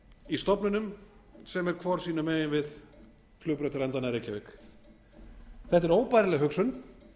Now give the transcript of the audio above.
í stofnunum sem eru hvor sínum megin við flugbrautarendana í reykjavík þetta er óbærileg hugsun